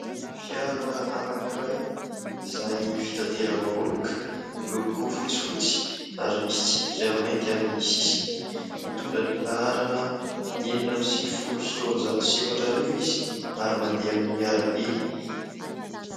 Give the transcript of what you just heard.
Fiara anankiray izay fitateram-bahoaka. Miloko fotsifotsy ary misy tsipika mainty amin'ny sisiny. Mitondra ny laharana enina amby sivifolo sy roanjato sy efatra arivo izy ary mandeha amin'ny arabe.